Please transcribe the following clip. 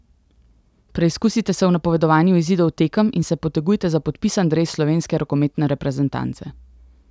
Preizkusite se v napovedovanju izidov tekem in se potegujte za podpisan dres slovenske rokometne reprezentance.